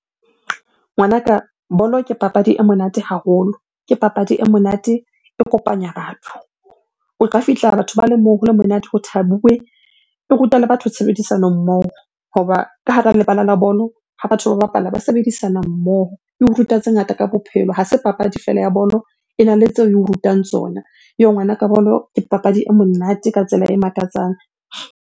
Ngwanaka bolo ke papadi e monate haholo, ke papadi e monate e kopanya batho. O ka fihla batho ba le moo ho le monate ho thabuwe. E ruta le batho tshebedisano mmoho hoba ka hara lebala la bolo ha batho ba bapala ba sebedisana mmoho. Eo ruta tse ngata ka bophelo, ha se papadi feela ya bolo. Ena le tseo eo rutang tsona. Yoh! ngwanaka, bolo ke papadi e monate ka tsela e makatsang.